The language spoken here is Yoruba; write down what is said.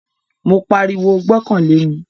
Mo pariwo, "gbọ́kàn lé mi"